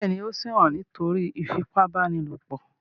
Bẹ́ẹ̀ ni, ó ṣẹ̀wọ̀n nítorí ìfipábánilòpọ̀.